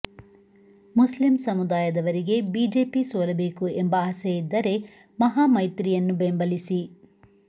Muslim ಸಮುದಾಯವರಿಗೆ BJP ಸೋಲಬೇಕು ಎಂಬ ಆಸೆ ಇದ್ದರೆ ಮಹಾಮೈತ್ರಿಯನ್ನು ಬೆಂಬಲಿಸಿ